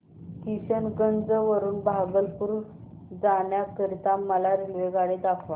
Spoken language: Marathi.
किशनगंज वरून भागलपुर जाण्या करीता मला रेल्वेगाडी दाखवा